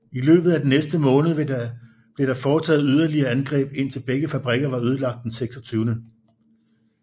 I løbet af den næste måned blev der foretaget yderligere angreb indtil begge fabrikker var ødelagt den 26